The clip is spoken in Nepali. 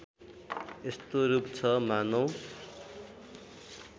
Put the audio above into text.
यस्तो रूप छ मानौँ